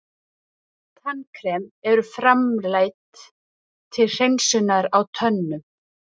Tannkrem eru framleidd til hreinsunar á tönnum.